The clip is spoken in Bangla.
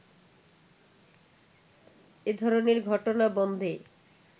এ ধরণের ঘটনা বন্ধে